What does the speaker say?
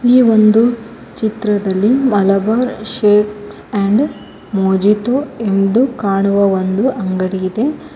ಈ ಒಂದು ಚಿತ್ರದಲ್ಲಿ ಮಲಬಾರ ಶೇಕ್ಸ್ ಅಂಡ್ ಮೋಜಿಟೊ ಎಂದು ಕಾಣುವ ಒಂದು ಅಂಗಡಿ ಇದೆ.